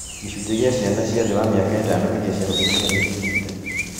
Gĩcunji gĩa ciana cia thĩ wa mĩaka ĩtano iria ciahũthĩrire neti ndigite